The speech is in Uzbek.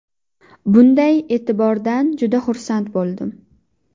Bunday e’tibordan juda xursand bo‘ldim.